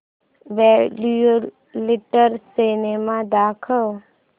popular cinema दाखव